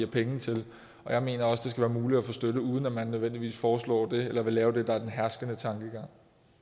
penge til jeg mener også det skal være muligt at få støtte uden at man nødvendigvis foreslår det eller vil lave det der er den herskende tankegang